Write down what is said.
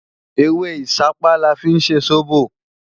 Ewé ìṣápá la fi ń ṣe sóbò